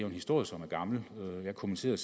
en historie som er gammel jeg kommenterede